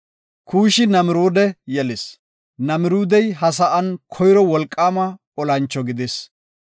Kuushi Namiruude yelis; Namiruudey ha sa7an koyro wolqaama olancho gidis.